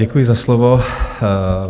Děkuji za slovo.